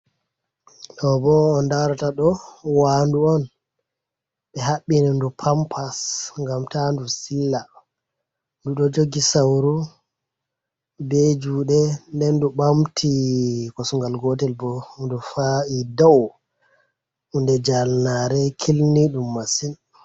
Ɗo bo on darata do wandu on be habbina ndu pampas gam ta ndu sila, ɗu ɗo jogi sauru be juɗe nden du ɓamti kosungal gotel bo ndu fa’i dau hunde jalnare kilni ɗum masin.